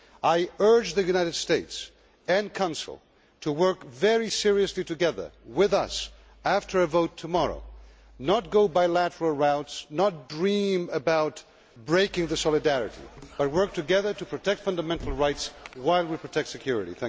I urge the United States and Council to work very seriously together with us after our vote tomorrow, and not to choose bilateral routes or dream about breaking the solidarity, but to work together to protect fundamental rights while we protect security.